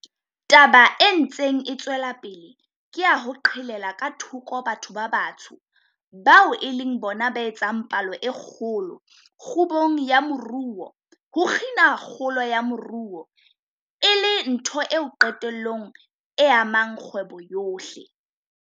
Taba e ntseng e tswela pele ya ho qhelela ka thoko batho ba batsho, bao e leng bona ba etsang palo e kgolo, kgubung ya moruo, ho kgina kgolo ya moruo, e le ntho eo qetellong e amang kgwebo yohle.